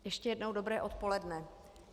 Ještě jednou dobré odpoledne.